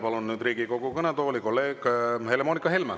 Palun nüüd Riigikogu kõnetooli kolleeg Helle-Moonika Helme.